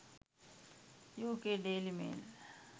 uk daily mail